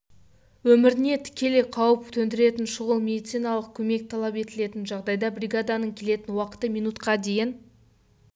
өміріне тікелей қауіп төндіретін шұғыл медициналық көмек талап етілетін жағдайда бригаданың келетін уақыты минутқа дейін